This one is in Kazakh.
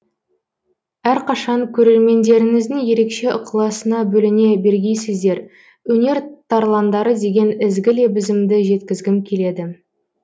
әрқашан көрермендеріңіздің ерекше ықылысына бөлене бергейсіздер өнер тарландары деген ізгі лебізімді жеткізгім келеді